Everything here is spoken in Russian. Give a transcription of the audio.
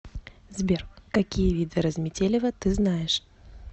сбер какие виды разметелево ты знаешь